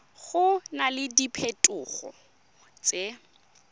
go na le diphetogo tse